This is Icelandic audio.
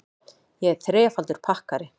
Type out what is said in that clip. Ég er þrefaldur pakkari.